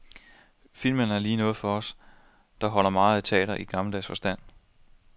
Filmen er lige noget for os, der holder meget af teater i gammeldags forstand.